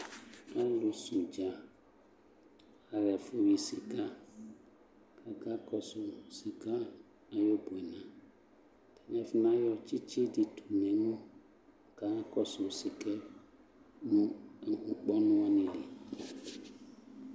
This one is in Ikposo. Alʋsɛ ʋdza aɣa ɛfʋ yi sɩka kʋ akakɔsʋ sɩka ayʋ ʋbʋɛna Atanɩ afɔnayɔ tsɩtsɩ dɩ tʋ nʋ emu kanakɔsʋ sɩka yɛ mʋ nʋ ʋkpɔnʋ wanɩ li